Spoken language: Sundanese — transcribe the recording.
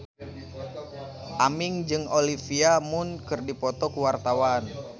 Aming jeung Olivia Munn keur dipoto ku wartawan